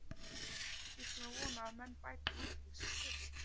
Við skulum vona að menn bæti úr því sem fyrst.